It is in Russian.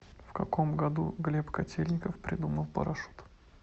в каком году глеб котельников придумал парашют